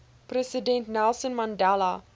president nelson mandela